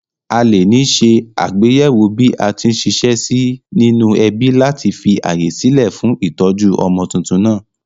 Alè ní se àgbéyéwò bí atí n siṣẹ́ sí nínú ẹbí láti fi ààyè sílè fún ìtójú ọmọ tuntun nàá